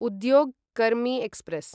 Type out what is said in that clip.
Udyog Karmi express